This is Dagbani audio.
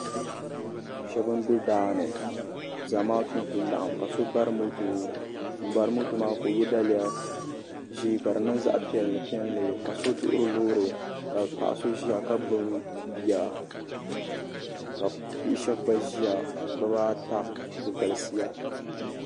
Sheba m be daani Zamaatu n kuli laɣim ka bari moto m bari moto ka o ye daliya piɛli piɛli ka so duhiri Loori ka paɣa so ʒia ka gbibi bia ka bia sheba gba ʒia bibata bɛ galisiya.